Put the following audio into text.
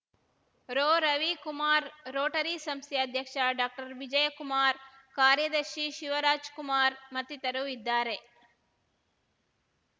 ರೋರವಿಕುಮಾರ್‌ Rotary ಸಂಸ್ಥೆ ಅಧ್ಯಕ್ಷ ಡಾಕ್ಟರ್ವಿಜಯಕುಮಾರ್‌ ಕಾರ್ಯದರ್ಶಿ ಶಿವರಾಜ್‌ಕುಮಾರ್‌ ಮತ್ತಿತರರು ಇದ್ದಾರೆ